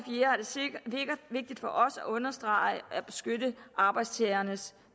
vigtigt for os at understrege at arbejdstagernes